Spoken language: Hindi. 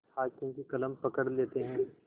हाकिम की कलम पकड़ लेते हैं